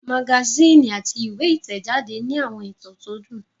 Magasíìnì àti ìwé ìtẹ̀jáde ní àwọn ìtàn tó dùn